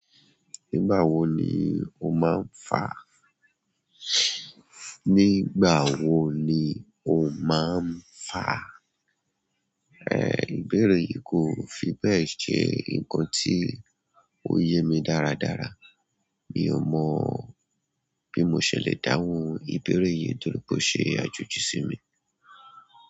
Nígbà wo ni o máa ń fà? Nígbà wo ni o máa ń fà? Eh, ìbéèrè yìí kò fi bẹ́ẹ̀ ṣe nǹkan tí ó yé mi dáradára. Mi ò mọ̀ bí mo ṣe le dáhùn ìbéèrè yìí torí pé ó ṣe àjòjì sí mi.